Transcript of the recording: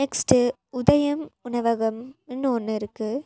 Next Udayam உணவகம் ன்னு ஒன்னு இருக்கு.